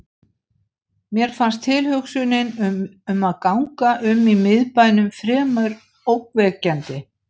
Mér fannst tilhugsunin um að ganga um í miðbænum fremur ógnvekjandi.